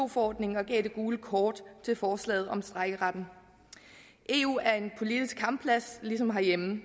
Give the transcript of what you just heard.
forordningen og gav det gule kort til forslaget om strejkeretten eu er en politisk kampplads ligesom herhjemme